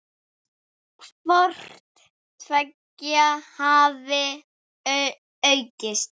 Hvort tveggja hafi aukist.